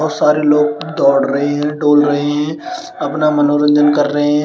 और सारे लोग दौड़ रहे हैं डोल रहे हैं। अपना मनोरंजन कर रहे हैं।